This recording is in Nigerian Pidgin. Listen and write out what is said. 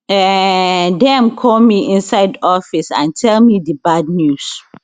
um dem call me inside office and tell me di bad news